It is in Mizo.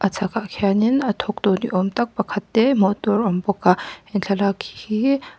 chhâkah khianin a thawktu ni âwm tak pakhat te hmuh tûr awm bawk a he thlalâk hi--